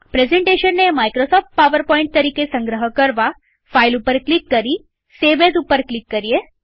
પ્રેઝન્ટેશનને Microsoft PowerPoint તરીકે સંગ્રહ કરવાફાઈલ ઉપર ક્લિક કરી gt સેવ એઝ ઉપર ક્લિક કરીએ